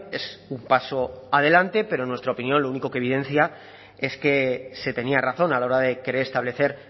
es un paso adelante pero en nuestra opinión lo único que evidencia es que se tenía razón a la hora de querer establecer